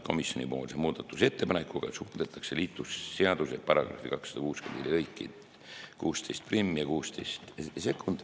Komisjoni muudatusettepanekuga muudetakse liiklusseaduse § 264 lõikeid 161 ning 162.